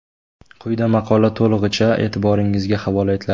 Quyida maqola to‘lig‘icha e’tiboringizga havola etiladi.